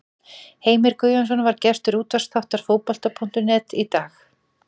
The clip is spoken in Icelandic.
Heimir Guðjónsson var gestur útvarpsþáttar Fótbolta.net í dag.